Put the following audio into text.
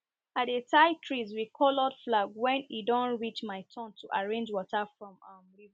i dey tie trees with coloured flag when e don reach my turn to arrange water from um river